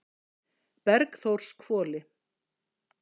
Bergþórshvoli